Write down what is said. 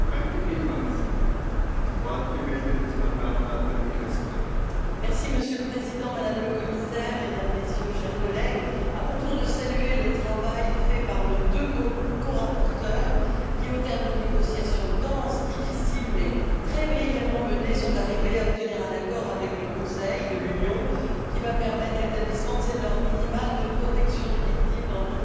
Monsieur le Président, Madame la Commissaire, Mesdames, Messieurs, chers collègues, à mon tour de saluer le travail fait par nos deux corapporteures qui, au terme de négociations denses, difficiles mais très brillamment menées, sont arrivées à obtenir un accord avec le Conseil de l'Union, qui va permettre l'établissement de normes minimales de protection des victimes dans toute l'Union européenne et marquer une étape supplémentaire dans l'édification